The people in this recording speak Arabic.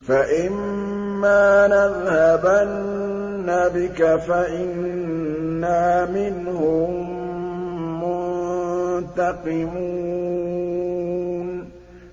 فَإِمَّا نَذْهَبَنَّ بِكَ فَإِنَّا مِنْهُم مُّنتَقِمُونَ